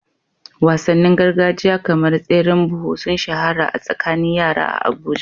Wasannin gargajiya kamar tseren buhu sun shahara a tsakanin yara a Abuja.